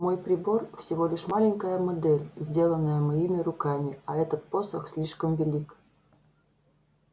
мой прибор всего лишь маленькая модель сделанная моими руками а этот посох слишком велик